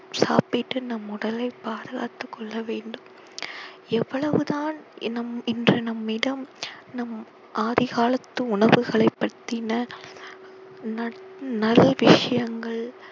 சாப்பிட்டு நம் உடலை பாதுகாத்துக்கொள்ள வேண்டும் எவ்வளவு தான் நம் இன்று நம்மிடம் நம் ஆதிகாலத்து உணவுகளைப் பற்றின நல்~ நல் விஷயங்கள்